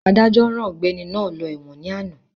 Adájọ́ rán ọ̀gbẹ́ni náà lọ ẹ̀wọ̀n ní àná